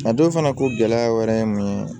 A dɔw fana ko gɛlɛya wɛrɛ ye mun ye